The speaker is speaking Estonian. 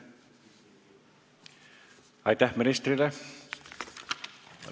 Aitäh ministrile!